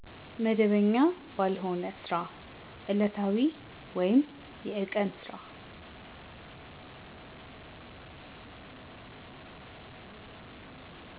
መደበኛ ባልሆነ ስራ እለታዊ ወይም የቀን ስራ